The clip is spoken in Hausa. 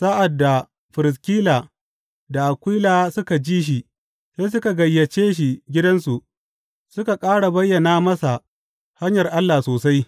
Sa’ad da Firiskila da Akwila suka ji shi, sai suka gayyace shi gidansu suka ƙara bayyana masa hanyar Allah sosai.